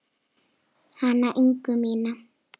Hana Ingu mína.